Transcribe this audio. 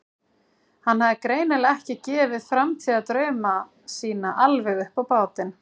Hann hafði greinilega ekki gefið framtíðardrauma sína alveg upp á bátinn.